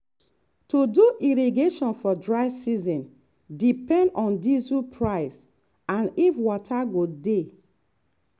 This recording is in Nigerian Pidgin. to do irrigation for dry season depend on diesel price and if water go dey.